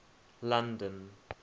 london